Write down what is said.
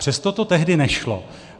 Přesto to tehdy nešlo.